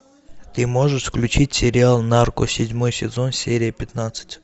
ты можешь включить сериал нарко седьмой сезон серия пятнадцать